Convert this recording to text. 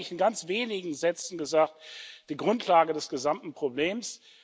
Das ist eigentlich, in ganz wenigen Sätzen gesagt, die Grundlage des gesamten Problems.